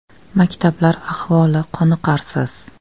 Maktablar ahvoli qoniqarsiz.